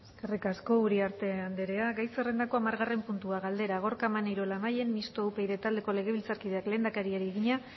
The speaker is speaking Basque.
eskerrik asko uriarte anderea gai zerrendako hamargarren puntua galdera gorka maneiro labayen mistoa upyd taldeko legebiltzarkideak lehendakariari egina